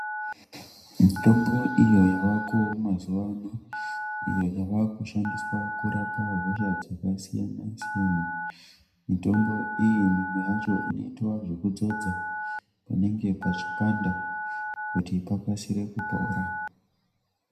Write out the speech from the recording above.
Mitombo iyo yavako mazuwa ano iyo yave kushandiswa kurapa hosha dzakasiyanasiyana mitombo iyi mimwe yacho inoitwa zvekudzodza panenge pachipanda kuti pakasire kupora.